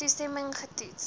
haar toestemming getoets